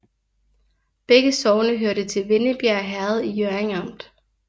Begge sogne hørte til Vennebjerg Herred i Hjørring Amt